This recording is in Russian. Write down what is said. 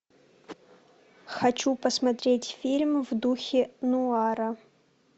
хочу посмотреть фильм в духе нуара